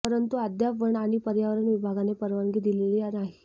परंतु अद्याप वन आणि पर्यावरण विभागाने परवानगी दिलेली नाही